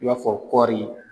I b'a fɔ kɔri .